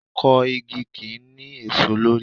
Akọ igi kì í ní èso lórí.